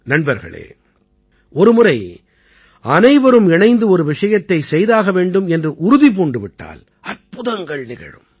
நண்பர்களே ஒரு முறை அனைவரும் இணைந்து ஒரு விஷயத்தைச் செய்தாக வேண்டும் என்று உறுதி பூண்டு விட்டால் அற்புதங்கள் நிகழும்